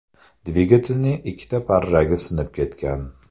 Dvigatelning ikkita parragi sinib ketgan.